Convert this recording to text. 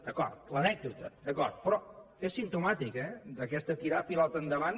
d’acord l’anècdota d’acord però és simptomàtic eh d’aquest tirar pilota endavant